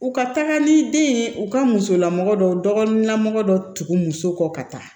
U ka taga ni den in ye u ka musolamɔgɔ dɔ dɔgɔnin dɔ tugu muso kɔ ka taa